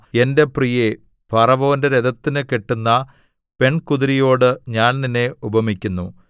എന്റെ പ്രിയേ ഫറവോന്റെ രഥത്തിന് കെട്ടുന്ന പെൺകുതിരയോട് ഞാൻ നിന്നെ ഉപമിക്കുന്നു